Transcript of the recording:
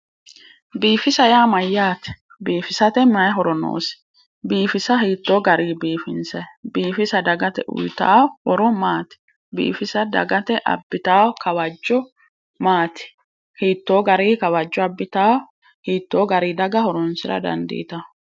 Biifisa yaa mayyaate, biifisate mayi horo noosi? biifisa hiittoo garii biifinsayi? biifisa dagate uuyitawo horo maati? biifisa dagate abbitawo kawajjo maati, hiittoo garii kawajjo abbitawoo. hiittoo garii daga horonsira dandiitawo.